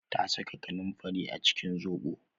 Ta saka kanunfari a cikin zobo